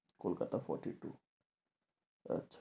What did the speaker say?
Kolkata, fourty two আচ্ছা